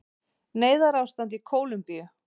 Neyðarástand í Kólumbíu